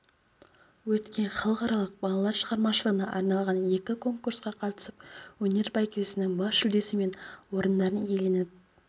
өткен халықаралық балалар шығармашылығына арналған екі конкурсқа қатысып өнер бәйгесінің бас жүлдесі мен орындарын иеленіп